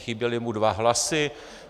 Chyběly mu dva hlasy.